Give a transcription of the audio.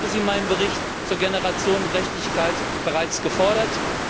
Ich habe sie in meinem Bericht zur Generationengerechtigkeit bereits gefordert.